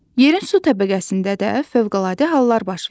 Yerin su təbəqəsində də fövqəladə hallar baş verir.